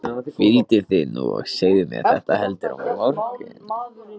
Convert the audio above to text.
Hvíldu þig nú og segðu mér þetta heldur á morgun.